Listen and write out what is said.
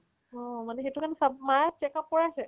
অ মানে সেটো কাৰণে চব মাই check up কৰাইছে